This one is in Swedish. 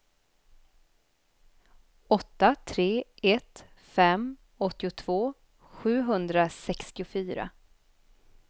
åtta tre ett fem åttiotvå sjuhundrasextiofyra